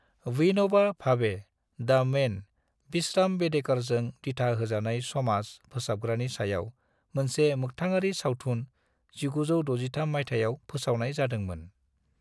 Vinoba Bhave, the man, Vishram बेडेकरजों दिथा होजानाय समाज-फोसाबग्रानि सायाव मोनसे मोखथाङारि सावथुन 1963 मायथाइयाव फोसावनाय जादों मोन।